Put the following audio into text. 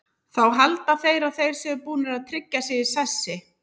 Þá halda þeir að þeir séu búnir að tryggja sig í sessi.